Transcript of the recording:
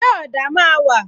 Ṣé ọ̀dà máa wà?